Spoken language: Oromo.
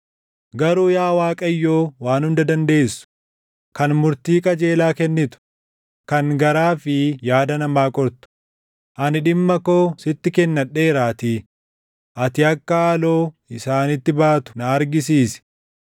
Garuu yaa Waaqayyoo Waan Hunda Dandeessu, kan murtii qajeelaa kennitu, kan garaa fi yaada namaa qortu, ani dhimma koo sitti kennadheeraatii ati akka haaloo isaanitti baatu na argisiisi.